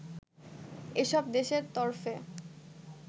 এসব দেশের তরফে